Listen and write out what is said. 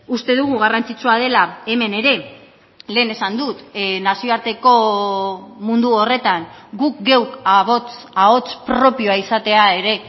uste dugu garrantzitsua dela hemen ere lehen esan dut nazioarteko mundu horretan guk geuk ahots propioa izatea ere